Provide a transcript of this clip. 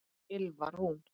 Ylfa Rún.